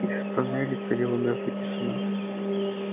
и в тоннеле царила мёртвая тишина